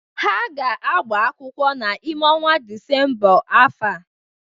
Ha ga-agbakwụkwọ n'ime ọnwa Disemba afọ a.